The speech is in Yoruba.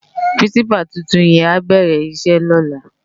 Pirinsipá tútún yèn á bèrè isè lòlá